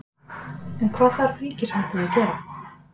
En hvað þarf ríkisvaldið að gera?